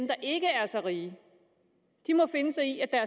der ikke er så rige må finde sig i at